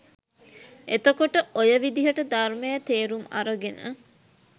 එතකොට ඔය විදිහට ධර්මය තේරුම් අරගෙන